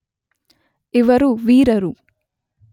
ಇವರು ವೀರರು